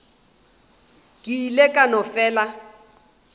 ke ile ka no fela